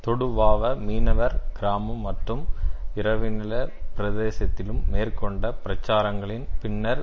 தொடுவாவ மீனவர் கிராமம் மற்றும் இரவிணில பிரதேசத்திலும் மேற்கொண்ட பிரச்சாரங்களின் பின்னர்